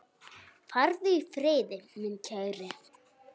Farðu í friði, minn kæri.